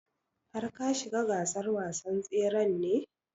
Har ka shiga gasar wasan tsren ne?